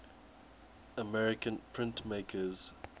american printmakers